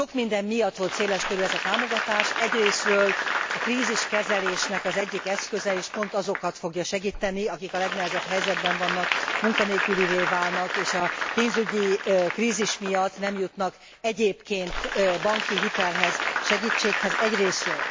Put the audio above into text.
Sok minden miatt volt széleskörű ez a támogatás, egyrészről a kríziskezelésnek az egyik eszköze is pont azokat fogja segíteni, akik a legnehezebb helyzetben vannak, munkanélkülivé válnak és a pénzügyi krízis miatt nem jutnak egyébként banki hitelhez, segítséghez, egyrészről.